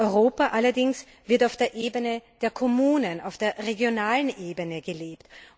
Europa allerdings wird auf der Ebene der Kommunen, auf der regionalen Ebene gelebt.